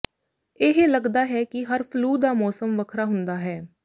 ਇਹ ਲਗਦਾ ਹੈ ਕਿ ਹਰ ਫਲੂ ਦਾ ਮੌਸਮ ਵੱਖਰਾ ਹੁੰਦਾ ਹੈ